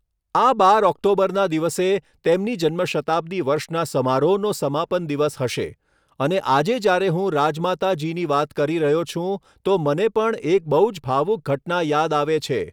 આ બાર ઓક્ટોબરના દિવસે તેમની જન્મ શતાબ્દી વર્ષના સમારોહનો સમાપન દિવસ હશે, અને આજે જ્યારે હું રાજમાતા જીની વાત કરી રહ્યો છુ્ં, તો મને પણ એક બહુ જ ભાવુક ઘટના યાદ આવે છે.